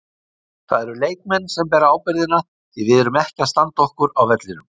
Það eru leikmenn sem bera ábyrgðina því við erum ekki að standa okkur á vellinum.